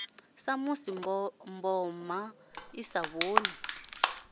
samusi mboma i sa vhoni